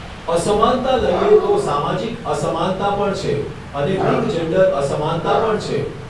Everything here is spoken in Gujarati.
અસમાનતા લઈએ તો સામાજિક અસમાનતા પણ છે અને લિંગ જૅન્ડર અસમાનતા પણ છે